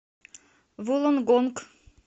вуллонгонг